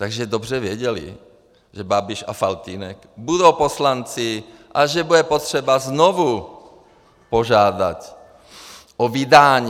Takže dobře věděli, že Babiš a Faltýnek budou poslanci a že bude potřeba znovu požádat o vydání.